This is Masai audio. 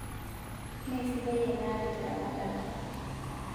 Meesidai enaare teramatare